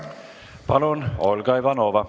Palun, Olga Ivanova!